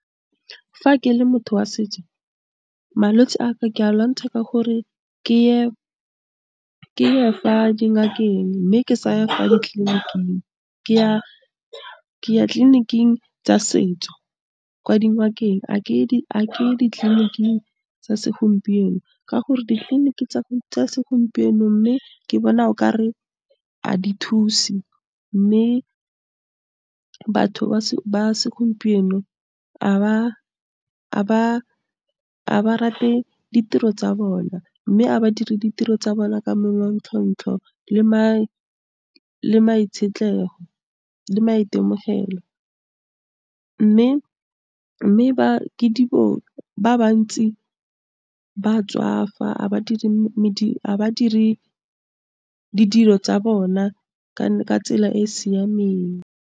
Fa ke le motho wa setso, malwetsi a ka, ke a lwantsha ka gore ke ye fa dingakeng mme ke saya fa ditleliniking, ke ya tleliniking tsa setso, kwa dingakeng a ke ye ditleliniking tsa segompieno ka gore ditleliniki tsa segompieno, mme ke bona o ka re a di thusi, mme batho ba segompieno a ba rate ditiro tsa bona mme a ba dire ditiro tsa bona ka manontlhotlho le le maitemogelo, mme ba ba bantsi ba tswafa, a ba dire badiri ditiro tsa bona ka tsela e e siameng.